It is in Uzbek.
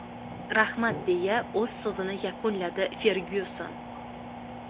Rahmat!”, deya o‘z so‘zini yakunladi Fergyuson.